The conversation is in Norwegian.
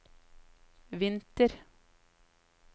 vinter